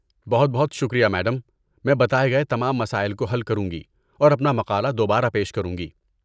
بہت بہت شکریہ، میڈم، میں بتائے گئے تمام مسائل کو حل کروں گی اور اپنا مقالہ دوبارہ پیش کروں گی۔